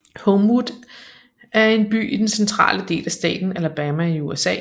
Homewood er en by i den centrale del af staten Alabama i USA